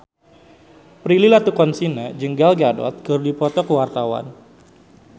Prilly Latuconsina jeung Gal Gadot keur dipoto ku wartawan